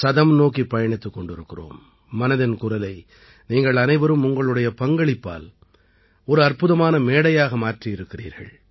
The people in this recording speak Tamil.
சதம் நோக்கிப் பயணித்துக் கொண்டிருக்கிறோம் மனதின் குரலை நீங்கள் அனைவரும் உங்களுடைய பங்களிப்பால் ஒரு அற்புதமான மேடையாக மாற்றியிருக்கிறீர்கள்